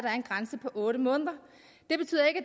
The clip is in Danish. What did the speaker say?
er en grænse på otte måneder det betyder